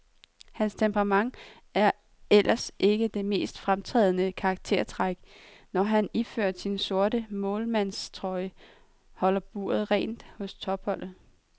Hans temperament er ellers ikke det mest fremtrædende karaktertræk, når han iført sin sorte målmandstrøje holder buret rent hos topholdet.